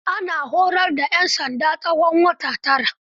Ana horar da 'yan sanda tsawon wata tara.